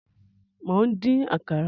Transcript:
Mò ń dín Àkàrà